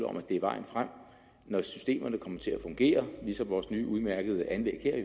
om at det er vejen frem og når systemerne kommer til at fungere ligesom vores nye udmærkede anlæg her